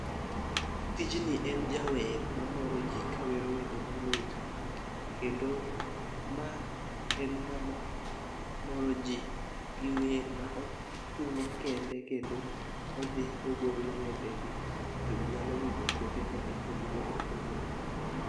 Tijni en jawer mamoro jii kawero wende mamit kendo ma en ng'ama moro jii gi wer ma otungo kende kendo odhi ogolo wende gi to jii nyalo winjo kuonde ma opogore opogore.